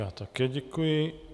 Já také děkuji.